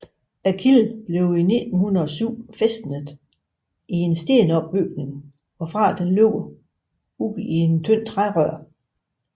Kilden blev i 1907 fæstnet i en stenopbygning hvorfra den løber ud i et tyndt trærør